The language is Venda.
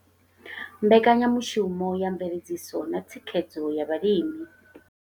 Mbekanyamushumo ya mveledziso na thikhedzo ya vhalimi.